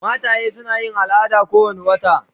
Mataye suna yin al'ada kowane wata.